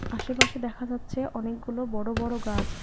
আশেপাশে দেখা যাচ্ছে অনেকগুলো বড়ো বড়ো গাছ।